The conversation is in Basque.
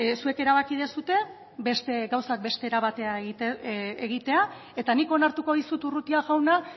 zuek erabaki duzue beste gauzak beste era batera egitea eta nik onartuko dizut urrutia jauna